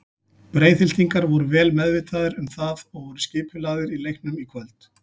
Breiðhyltingar voru vel meðvitaðir um það og voru vel skipulagðir í leiknum í kvöld.